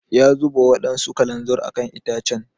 Ya zuba wadansu kalanzir a kan itacen.